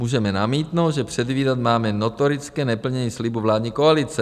Můžeme namítnout, že předvídat máme notorické neplnění slibů vládní koalice.